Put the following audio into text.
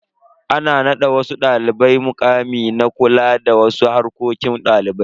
Ana nada wasu dalibai mukami na kula da wasu harkokin dalibai.